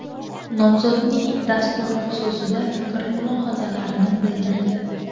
Nomzodning dasturi xususida fikr-mulohazalarini bildirdi.